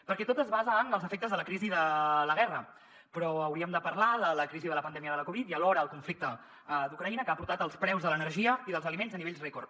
perquè tot es basa en els efectes de la crisi de la guerra però hauríem de parlar de la crisi de la pandèmia de la covid i alhora el conflicte d’ucraïna que ha portat els preus de l’energia i dels aliments a nivells rècord